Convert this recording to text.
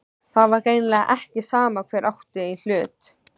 Það var greinilega ekki sama hver átti í hlut.